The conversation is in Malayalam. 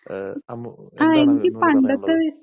ഏഹ് അമ്മു എന്താണ് അതിനോട് പറയാനുള്ളത്?